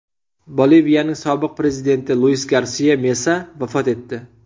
Boliviyaning sobiq prezidenti Luis Garsia Mesa vafot etdi.